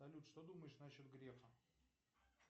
салют что думаешь насчет грефа